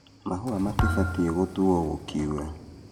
Mahũa matibatie gũtuo gũkiura .